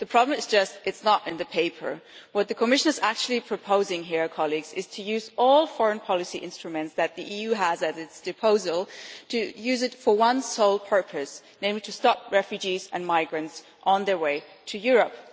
The problem is just it is not in the paper. What the Commission is actually proposing here colleagues is to use all foreign policy instruments that the EU has as its disposal for one sole purpose, namely to stop refugees and migrants on their way to Europe.